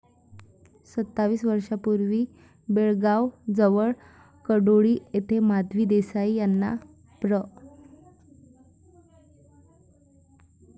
सत्तावीस वर्षांपूर्वी बेळगावजवळ कडोळी येथे माधवी देसाई यांनी प्र.